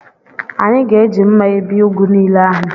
Anyị ga-eji mma ebi ugu niile ahụ.